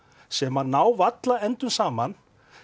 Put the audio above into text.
sem að ná varla endum saman